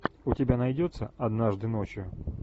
у тебя найдется однажды ночью